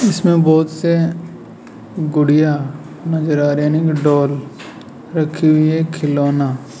जिसमें बहुत से गुड़ियां नज़र आ रहे हैं आई मीन डॉल रखी हुईं है खिलौना --